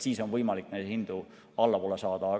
Siis on võimalik neid hindu allapoole saada.